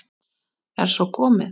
Er svo komið?